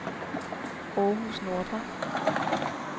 Århus Nordre